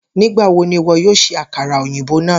Nigbawo ni iwọ yoo ṣe akara oyinbo naa?